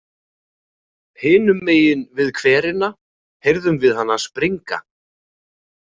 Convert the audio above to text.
Hinum megin við hverina heyrðum við hana springa.